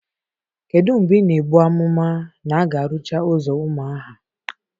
Kedu mgbe ị na-ebu amụma na a ga-arụcha ụzọ Umuaha?